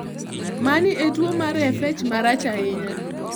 Mani en tuwo mar FH marach ahinya.